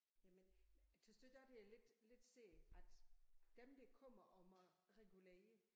Jamen tys du ikke også det er lidt lidt sært at dem der kommer om og regulere